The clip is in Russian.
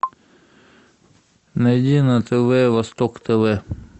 найди на тв восток тв